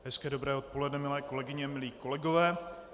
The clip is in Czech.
Hezké dobré odpoledne, milé kolegyně, milí kolegové.